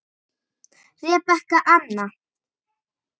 Rebekka amma.